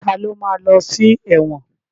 Ta ló ma lọ sí ẹ̀wọ̀n?